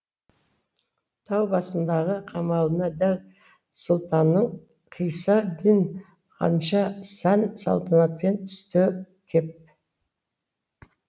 тау басындағы қамалына дәл сұлтанның қисса дин ханша сән салтанатпен түсті кеп